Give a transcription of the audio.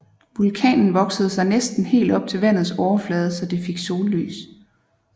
Vulkanen voksede sig næsten helt op til vandets overflade så det fik sollys